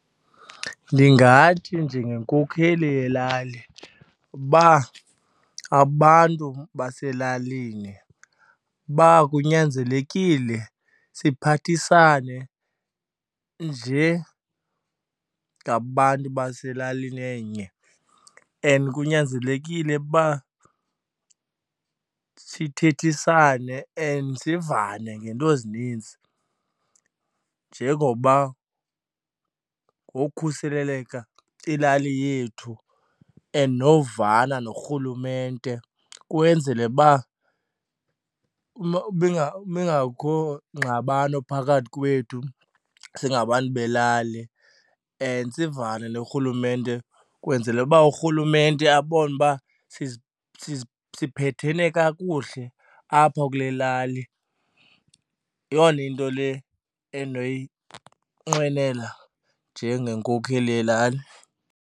Ndingathi njengenkokheli yelali uba abantu baselalini uba kunyanzelekile siphathisane njengabantu baselalini enye. And kunyanzelekile uba sithethisane and sivane ngeento ezininzi njengoba ngokukhuseleka ilali yethu and novana norhulumente kwenzele uba bengekho ngxabano phakathi kwethu singabantu belali. And sivane norhulumente kwenzele uba urhulumente abone uba siphethene kakuhle apha kule lali. Yeyona into le endinoyinqwenela njengenkokheli yelali.